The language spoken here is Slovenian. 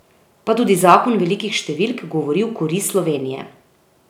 Pa tudi zakon velikih številk govori v korist Slovenije.